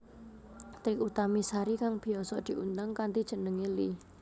Trie Utami Sari kang biyasa diundang kanthi jeneng Iie